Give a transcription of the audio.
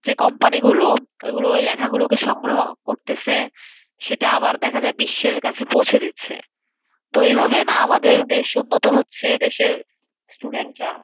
যে company গুলো ওইগুলো ওই লেখাগুলোকে সংগ্রহ করতেছে। সেটা আবার দেখা যায় বিশ্বের কাছে পৌঁছে দিচ্ছে তো এইভাবে না আমাদের দেশও উন্নত হচ্ছে। দেশের student রা